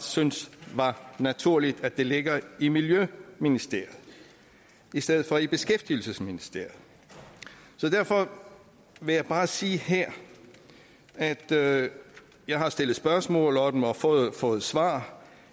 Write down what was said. synes var naturligt altså at det ligger i miljøministeriet i stedet for i beskæftigelsesministeriet så derfor vil jeg bare sige her at jeg har stillet spørgsmål og fået fået svar